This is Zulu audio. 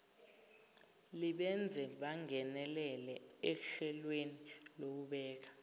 libenze bangeneleleohlelweni lokubeka